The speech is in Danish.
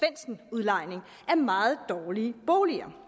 udlejning af meget dårlige boliger